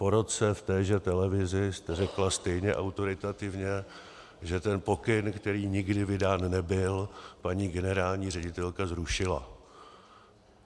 Po roce v téže televizi jste řekla stejně autoritativně, že ten pokyn, který nikdy vydán nebyl, paní generální ředitelka zrušila.